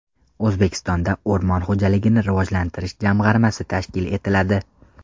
O‘zbekistonda o‘rmon xo‘jaligini rivojlantirish jamg‘armasi tashkil etiladi.